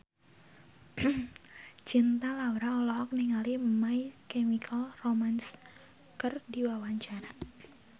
Cinta Laura olohok ningali My Chemical Romance keur diwawancara